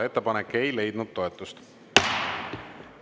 Ettepanek ei leidnud toetust.